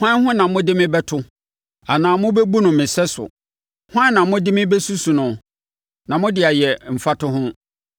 “Hwan ho na mode me bɛto, anaa mobɛbu no me sɛso? Hwan na mode me bɛsusu no, na mode ayɛ mfatoho?